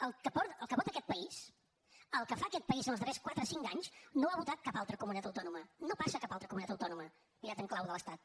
el que vota aquest país el que fa aquest país en els darrers quatre cinc anys no ha votat cap altra comunitat autònoma no passa a cap altra comunitat autònoma mirat en clau de l’estat